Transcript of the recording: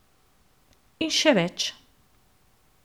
In še več.